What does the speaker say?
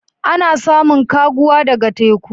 Ana samun kaguwa daga teku.